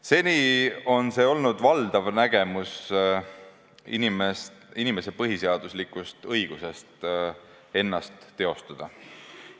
Seni on see olnud valdav nägemus inimese põhiseaduslikust õigusest ennast teostada.